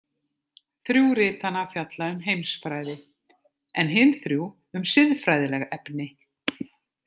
Þrjú ritanna fjalla um heimsfræði, en hin þrjú um siðfræðileg efni.